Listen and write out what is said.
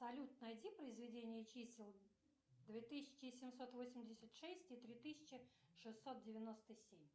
салют найди произведение чисел две тысячи семьсот восемьдесят шесть и три тысячи шестьсот девяносто семь